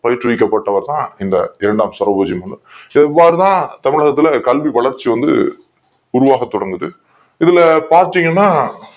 பயிற்றுவிக்கப் பட்டவர் தான் இந்த இரண்டாம் சரபோஜி இவர்தான் தமிழகத்தில் கல்வி வளர்ச்சிய வந்து உருவாக்க தொடங்கியது இதுல பார்த்தீங்கன்னா